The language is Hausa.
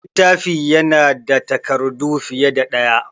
Littafi ya na da takardu fiye da ɗaya